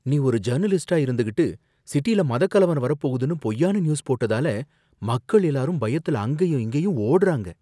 நீ ஒரு ஜர்னலிஸ்ட்டா இருந்துகிட்டு, சிட்டில மதக் கலவரம் வரப்போகுதுன்னு பொய்யான நியூஸ் போட்டதால, மக்கள் எல்லாரும் பயத்துல அங்கேயும் இங்கேயும் ஒடுறாங்க